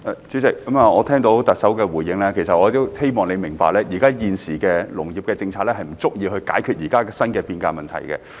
主席，我聽到特首的回應，我希望她明白現時的農業政策不足以解決現時新的變革問題。